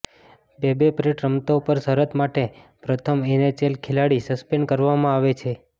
બેબે Pratt રમતો પર શરત માટે પ્રથમ એનએચએલ ખેલાડી સસ્પેન્ડ કરવામાં આવે છે